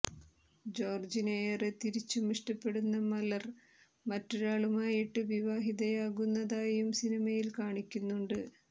ജോർജിനെ ഏറെ തിരിച്ചും ഇഷ്ടപ്പെടുന്ന മലർ മറ്റൊരാളുമായിട്ട് വിവാഹതയാകുന്നതായും സിനിമയിൽ കാണിക്കുന്നുണ്ട്